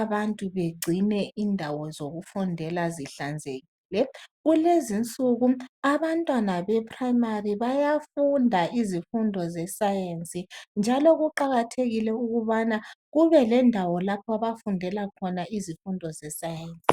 abantu begcine indawo zokufundela zihlanzekile. Kulezinsuku abantwana be primary bayafunda izifundo ze science njalo kuqakathekile ukubana kubelendawo lapho abafundela khona izifundo ze science